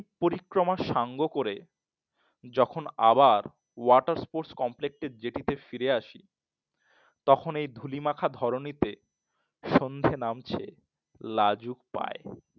পরিক্রমা সাঙ্গ করে যখন আবার Water Sports complex জেটিতে ফিরে আশি তখন এই ধুলি মাখা ধর নিতে সন্ধ্যে নামছে লাজুক পায়।